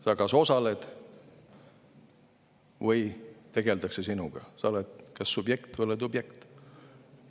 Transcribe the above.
Sa kas osaled või tegeldakse sinuga, sa oled kas subjekt või oled objekt.